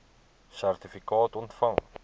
sertifikaat ontvang